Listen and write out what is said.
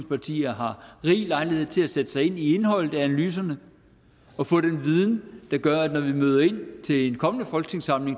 partier har rig lejlighed til at sætte sig ind i indholdet af analyserne og få den viden der gør at når vi møder ind til den kommende folketingssamling